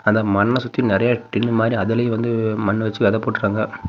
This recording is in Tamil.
அந்த மண்ண சுத்தி நிறைய டின் மாரி அதுலயு வந்து மண்ணு வச்சு வெத போட்டுருக்காங்க.